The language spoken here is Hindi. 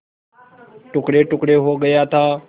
टुकड़ेटुकड़े हो गया था